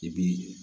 I bi